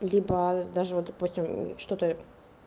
либо даже вот допустим что-то